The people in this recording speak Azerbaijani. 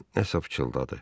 Krala nə isə pıçıldadı.